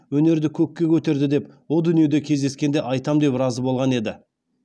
өнерді көкке көтерді деп о дүниеде кездескенде айтам деп разы болған еді